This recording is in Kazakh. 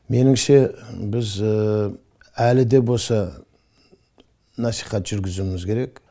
меніңше біз әлі де болса насихат жүргізуіміз керек